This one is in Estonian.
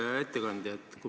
Hea ettekandja!